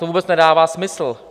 To vůbec nedává smysl.